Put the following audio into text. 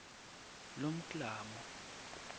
lomklamo